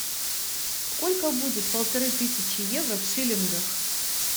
сколько будет полторы тысячи евро в шиллингах